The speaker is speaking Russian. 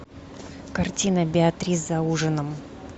картина беатрис за ужином